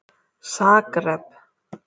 Zagreb